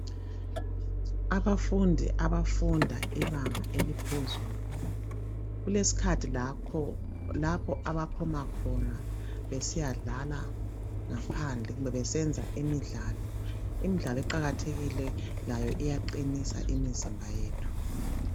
Abafundi abafunda ibanga eliphezulu kulesikhathi lakho lapho abaphuma khona besiyadlala ngaphandle kumbe besenza imidlalo, imidlalo iqakathekile layo iyaqinisa imizimba yethu.